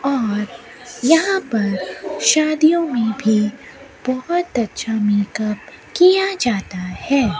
और यहां पर शादियों में भी बहुत अच्छा मेकअप किया जाता है।